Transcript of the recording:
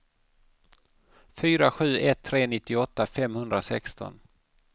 fyra sju ett tre nittioåtta femhundrasexton